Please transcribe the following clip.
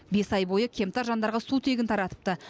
бес ай бойы кемтар жандарға су тегін таратыпты